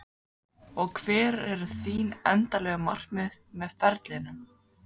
Og hver eru þín endanlegu markmið með ferlinum?